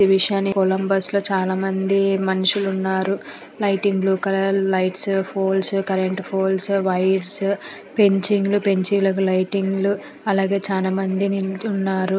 ఈ విషయాన్ని కొలంబస్ లో చాలా మంది మనుషులు ఉన్నారు. Lighting blue colour lights poles current poles wires పెంచిలకు లైటింగ్ లు అలాగే చన మంది నిల్చొని ఉన్నారు.